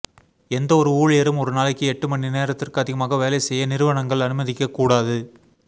எந்தவொரு ஊழியரும் ஒரு நாளைக்கு எட்டு மணி நேரத்திற்கு அதிகமாக வேலை செய்ய நிறுவனங்கள் அனுமதிக்கக் கூடாது